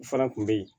O fana kun be ye